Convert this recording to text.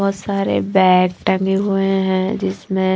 बहोत सारे बैग ठगे हुए हैं जिसमें--